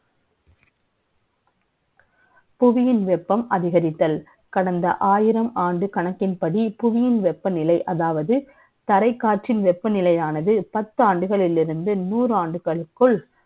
புவியின் வெ ப்பம் அதிகரித்தல். கடந்த ஆயிரம் ஆண்டு கணக்கின்படி, புவியின் வெ ப்பநிலை, அதாவது, தரை காற்றின் வெ ப்பநிலை யானது, பத்து ஆண்டுகளில் இருந்து, நூறு ஆண்டுகளுக்குள்,